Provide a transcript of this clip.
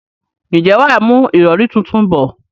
ǹjẹ́ wà á mú ìrọrí tuntun bọ̀?